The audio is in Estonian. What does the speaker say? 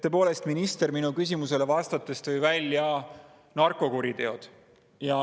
Tõepoolest, minister minu küsimusele vastates tõi välja narkokuriteod.